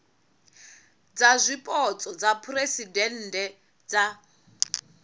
dza zwipotso dza phuresidennde dza